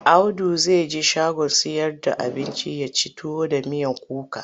Audu zai je shagon sayar da abinci ya ci tuwo da miyar kuka.